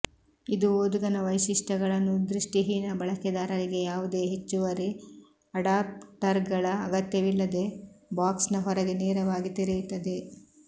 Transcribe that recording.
ಇದು ಓದುಗನ ವೈಶಿಷ್ಟ್ಯಗಳನ್ನು ದೃಷ್ಟಿಹೀನ ಬಳಕೆದಾರರಿಗೆ ಯಾವುದೇ ಹೆಚ್ಚುವರಿ ಅಡಾಪ್ಟರ್ಗಳ ಅಗತ್ಯವಿಲ್ಲದೇ ಬಾಕ್ಸ್ನ ಹೊರಗೆ ನೇರವಾಗಿ ತೆರೆಯುತ್ತದೆ